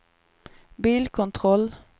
bilkontroll